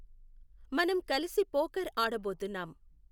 మనం కలిసి పోకర్ ఆడబోతున్నాం